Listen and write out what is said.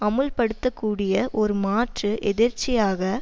அமுல் படுத்தக்கூடிய ஒரு மாற்று எதிர்ச்சியாக